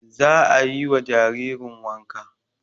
Za ayi wa jaririn wanka